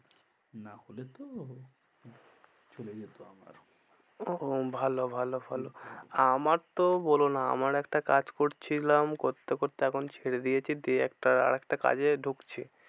না হলে তো চলে যেত আমার ও ভালো ভালো ভালো আমার তো বলো না আমার একটা কাজ করছিলাম করতে করতে এখন ছেড়ে দিয়েছি, দিয়ে একটা আর একটা কাজে ঢুকছি।